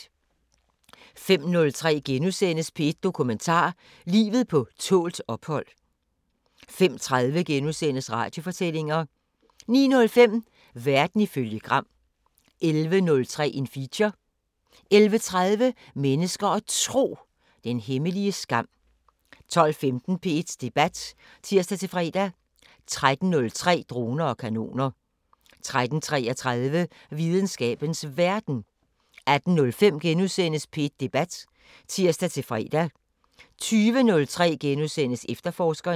05:03: P1 Dokumentar: Livet på tålt ophold * 05:30: Radiofortællinger * 09:05: Verden ifølge Gram 11:03: Feature 11:30: Mennesker og Tro: Den hemmelige skam 12:15: P1 Debat (tir-fre) 13:03: Droner og kanoner 13:33: Videnskabens Verden 18:05: P1 Debat *(tir-fre) 20:03: Efterforskerne *